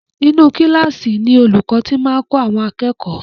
Inú kílààsì ni olúkọ̀ ti máa kọ́ àwọn akẹ́kọ̀ọ́.